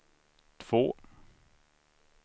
två